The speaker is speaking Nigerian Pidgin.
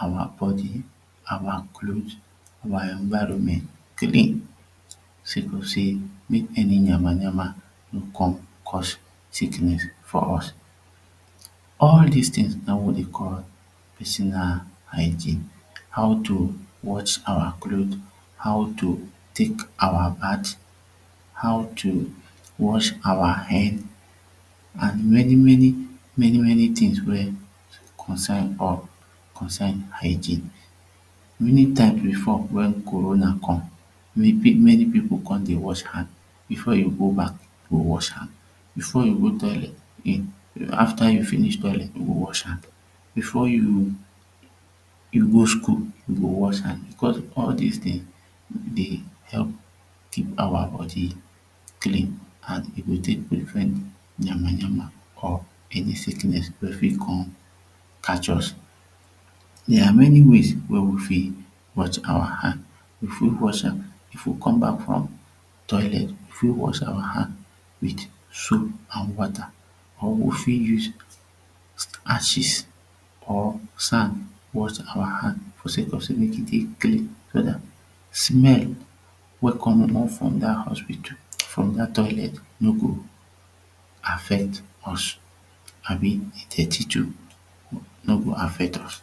our body our clothes our environment clean say cos say mek any yama yama no come cos sickness for us all dis tins na wat dey call personal hygiene how to wash our clothes how to tek our bath how to wash our hair an many many many many tins wey consine hygiene many times before wen Corona come many people come dey wash hand before you go back you go wash hand before you go toilet you afta you finish toilet you go wash hand before you go school you go wash hand becos all dis tins dey help keep our body clean an e go tek prevent yama yama or any sickness wey fit come catch us dia are many ways wey we fit wash our hand. We fit wash am if we come back from toilet we fit wash our hand wit soap and wata or we fit use ashes or sand wash our hand for say cos say mek e dey clean. So dat smell wey come from dat hospital from dat toilet no go affect us abi de dirty too no go affect us